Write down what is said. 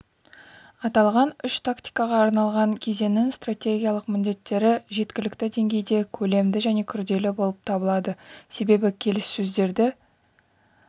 аталған үш тактикаға арналған кезеңнің стратегиялық міндеттері жеткілікті деңгейде көлемді және күрделі болып табылады себебі келіссөздерді